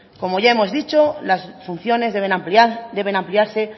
como ya hemos dicho las funciones deben ampliarse